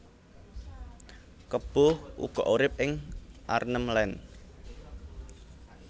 Kebo uga urip ing Arnhem Land